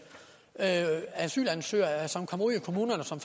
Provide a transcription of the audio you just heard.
asylansøgere som kommer ud i kommunerne og som